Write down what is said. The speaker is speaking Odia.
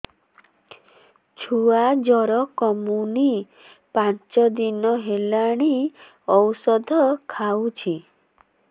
ଛୁଆ ଜର କମୁନି ପାଞ୍ଚ ଦିନ ହେଲାଣି ଔଷଧ ଖାଉଛି